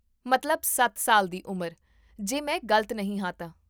ਮਤਲਬ, ਸੱਤ ਸਾਲ ਦੀ ਉਮਰ, ਜੇ ਮੈਂ ਗਲਤ ਨਹੀਂ ਹਾਂ ਤਾਂ